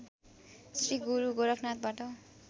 Shri Guru गोरखनाथबाट